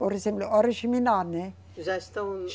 Por exemplo, Oriximiná, né? Já estão